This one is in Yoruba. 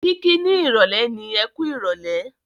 Kiki ni ìrọ̀lẹ́ ni "Ẹkú ìrọ̀lẹ́".